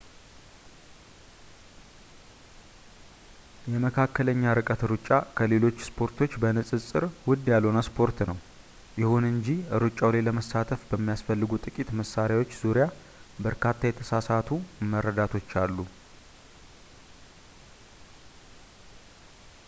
የመካከለኛ ርቀት ሩጫ ከሌሎች ስፖርቶች በንፅፅር ውድ ያልሆነ ስፖርት ነው ይሁን እንጂ ሩጫው ላይ ለመሳተፍ በሚያስፈልጉ ጥቂት መሳርያዎች ዙርያ በርካታ የተሳሳቱ መረዳቶች አሉ